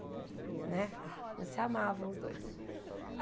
Né eles se amavam os dois.